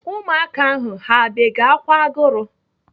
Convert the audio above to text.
Ụmụaka ahụ ha bege ákwà agụrụ?